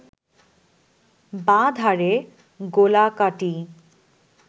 বাঁ ধারে গোলাকাটি